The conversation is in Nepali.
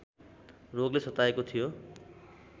रोगले सताएको थियो